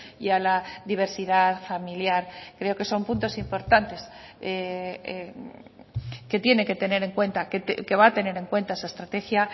y a la diversidad familiar creo que son puntos importantes que tiene que tener en cuenta que va a tener en cuenta esa estrategia